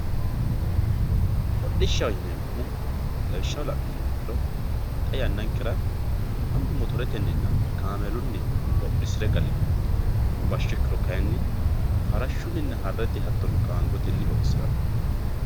hodhishaho yineemohu lawishshaho la'numoha ikkiro xa yannankera mannu motoretenninna kaamellunni hodhisire galino bashsho ikkiro kayiini farashuyiina harrete hattono gaangotenni hodhisiranno.